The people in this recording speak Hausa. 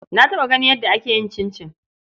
Na taɓa ganin yadda ake yin cincin.